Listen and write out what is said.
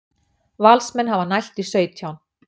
Valsmenn hafa nælt í sautján